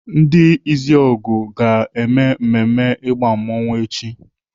Ndi Izuogu ga na-mmemme ịgba mmanwu echi.